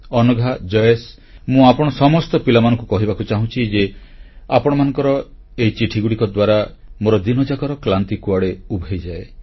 ଅନଘା ଜୟେଶ ମୁଁ ଆପଣ ସମସ୍ତ ପିଲାମାନଙ୍କୁ କହିବାକୁ ଚାହୁଁଛି ଯେ ଆପଣମାନଙ୍କର ଏହି ଚିଠିଗୁଡ଼ିକ ଦ୍ୱାରା ମୋର ଦିନଯାକର କ୍ଳାନ୍ତି କୁଆଡ଼େ ଉଭେଇଯାଏ